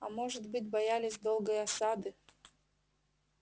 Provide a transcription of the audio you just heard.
а может быть боялись долгой осады